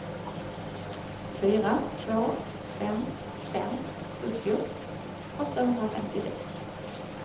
fyra två fem fem sjuttio åttahundrafemtiosex